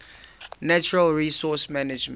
natural resource management